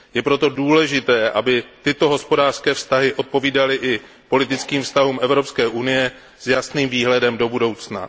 Je proto důležité, aby tyto hospodářské vztahy odpovídaly i politickým vztahům Evropské unie s jasným výhledem do budoucna.